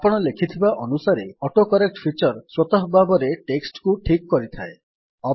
ଆପଣ ଲେଖିବା ଅନୁସାରେ ଅଟୋକରେକ୍ଟ୍ ଫିଚର୍ ସ୍ୱତଃ ଭାବରେ ଟେକ୍ସଟ୍ କୁ ଠିକ୍ କରିଥାଏ